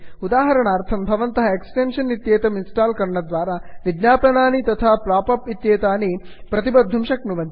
उदाहरणार्थं भवन्तः एक्स्टेन्षन् इत्येतं इन्स्टाल् करणद्वारा विज्ञापनानि तथा पाप् अप् इत्येतानि प्रतिबद्धुं शक्नुवन्ति